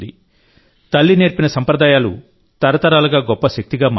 తల్లి నేర్పిన సంప్రదాయాలు తరతరాలుగా గొప్ప శక్తిగా మారతాయి